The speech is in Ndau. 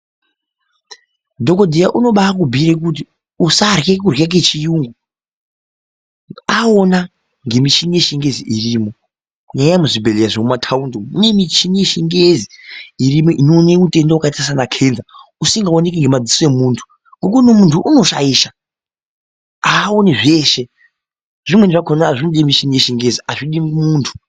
Dhokodheya unobai kubhuyira kuti usarye kurya kechiyungu aona ngemishini yechingezi irimo, eyaa muzvibhedhlera zvemumataundi umo mune mishini yechingezi irimo inoone utenda wakaita saana kenza usingaoneki nemadziso emuntu ngokuti muntu unoshaisha awoni zveshe, zvimweni zvakona zvinode mishini yechingezi azvidi muntu.